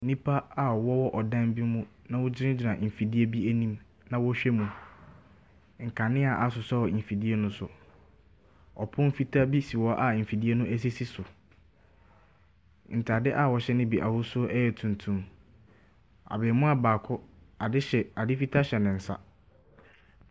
Nnipa a wɔwɔ ɔdan bi mu na wɔgyinagyina mfidie bi anim na wɔrehwɛ mu. Nkanea asɔsɔ mfidie no so. Ɔpon fitaa bi si hɔ a mfidie no sisi so. Ntaade a wɔhwɛ no bi ahosuo yɛ tuntum. Abaamuwaa baako, ade hye ne, ade fitaa hyɛ ne nsa.